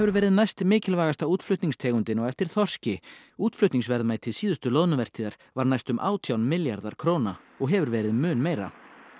verið næstmikilvægasta á eftir þorski útflutningsverðmæti síðustu loðnuvertíðar var næstum átján milljarðar króna og hefur verið mun meira